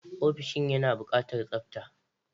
Ofishin yana buƙatar tsabta.